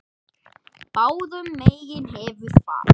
Báðum megin hefur fat.